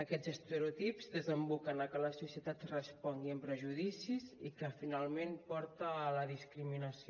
aquests estereotips desemboquen a que la societat respongui amb prejudicis i que finalment porta a la discriminació